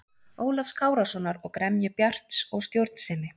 Ólafs Kárasonar og gremju Bjarts og stjórnsemi.